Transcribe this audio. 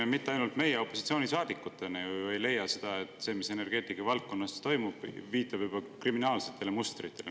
Ja mitte ainult meie opositsioonisaadikutena ju ei leia, et see, mis energeetikavaldkonnas toimub, viitab juba kriminaalsele mustrile.